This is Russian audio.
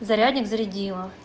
зарядник зарядила